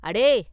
“அடே!